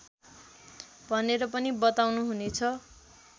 भनेर पनि बताउनुहुनेछ